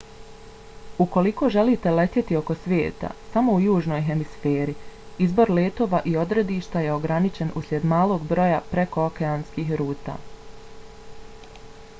ukoliko želite letjeti oko svijeta samo u južnoj hemisferi izbor letova i odredišta je ograničen usljed malog broja prekookeanskih ruta